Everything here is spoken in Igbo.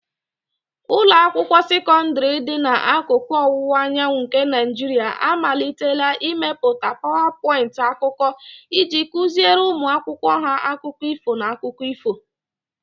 Ụlọ akwụkwọ sekọndrị dị n'akụkụ ọwụwa anyanwụ nke Naijiria amalitela ịmepụta PowerPoint akụkọ iji kụziere ụmụ akwụkwọ ha akụkọ ifo na akụkọ ifo.